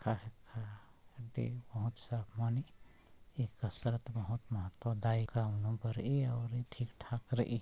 ये कसरत बहुत महत्व दाई और ये बड़ी ठीक ठाक रही।